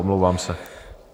Omlouvám se.